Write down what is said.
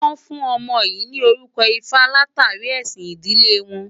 Wọ́n fún ọmọ yìí ní orúkọ Ifá látàrí ẹ̀sìn ìdílé wọn.